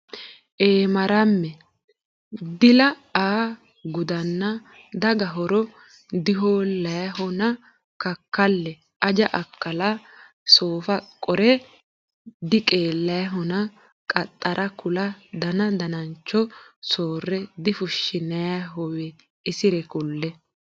Eemaramme Dila aa gudanna daga horre Dihoollayihona kakkalle Aja akkala soofe qorre Diqeellayihona qaxxarre kulle Dana danancho soorre Difushshinayihowe isiri kulle.